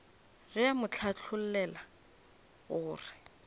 ge a mo hlathollela gore